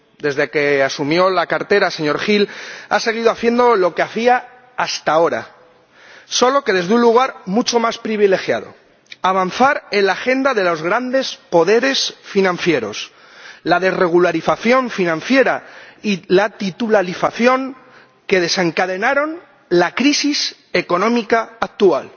Desde que asumió la cartera, señor Hill, ha seguido haciendo lo que hacía hasta ahora, solo que desde un lugar mucho más privilegiado avanzar en la agenda de los grandes poderes financieros, la desregularización financiera y la titularización que desencadenaron la crisis económica actual.